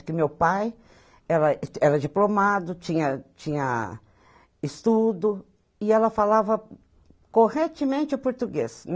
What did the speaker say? Porque meu pai era era diplomado, tinha tinha estudo, e ela falava corretamente o português.